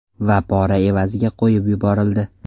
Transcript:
Va pora evaziga qo‘yib yuborildi.